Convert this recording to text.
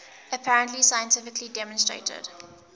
apparently scientifically demonstrated